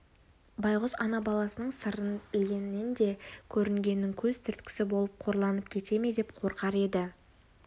байғұс ана баласының сырын білгеннен де көрінгеннің көз түрткісі болып қорланып кете ме деп қорқар еді